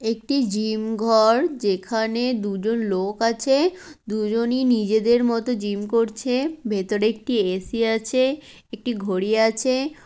একটি জিম ঘর যেখানে দুজন লোক আছে দুজনই নিজেদের মতো জিম করছে। ভেতরে একটি এ.সি. আছে একটি ঘড়ি আছে-এ।